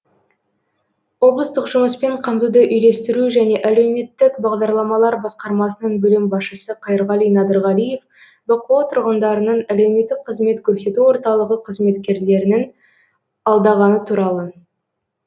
облыстық жұмыспен қамтуды үйлестіру және әлеуметтік бағдарламалар басқармасының бөлім басшысы қайырғали надырғалиев бқо тұрғындарының әлеуметтік қызмет көрсету орталығы қызметкерлерін алдағаны туралы